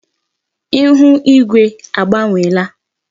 Ihu ígwé agbanwela.